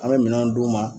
An bɛ minɛn d'u ma